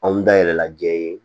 Anw da yɛlɛla jɛ ye